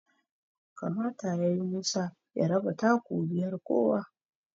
kamata yayi Musa ya raba taku biyar kowa